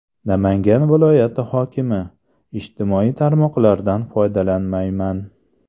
Namangan viloyati hokimi: Ijtimoiy tarmoqlardan foydalanmayman.